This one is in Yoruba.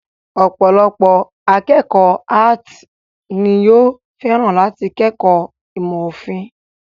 Ọ̀pọ̀lọpọ̀ akékọ̀ọ́ áàtì ni yóò fẹ́ràn láti kẹ́kọ̀ọ́ ìmọ̀ òfin.